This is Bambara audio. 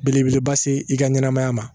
Belebeleba se i ka ɲɛnɛmaya ma